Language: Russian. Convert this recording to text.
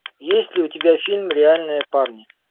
есть ли у тебя фильм реальные парни